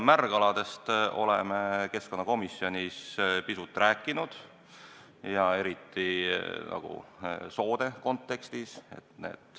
Märgaladest me oleme keskkonnakomisjonis pisut rääkinud, eriti soode kontekstis.